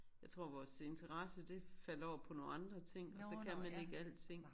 Jeg tror vores interesse det faldt over på nogle andre ting og så kan man ikke alting